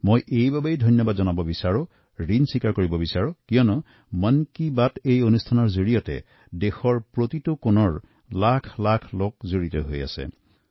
কেৱল ইমানেই নহয় দেশেৰ প্ৰতি কোণৰ পৰা অসংখ্য লোক এই অনুষ্ঠানৰ সৈতে জড়িত হৈছে